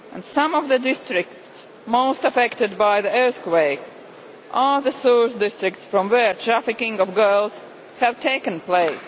Some of the districts most affected by the earthquake are the source districts from which trafficking of girls has taken place.